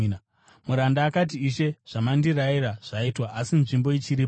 “Muranda akati, ‘Ishe, zvamandirayira zvaitwa, asi nzvimbo ichiripo.’